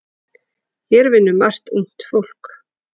Hér vinnur margt ungt fólk.